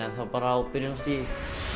enn þá bara á byrjunarstigi